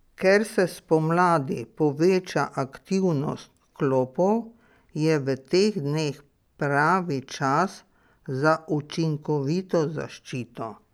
Ker se spomladi poveča aktivnost klopov, je v teh dneh pravi čas za učinkovito zaščito.